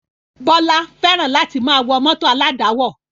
Bọlá fẹ́ràn láti máa wọ mọ́tò aládàáwọ̀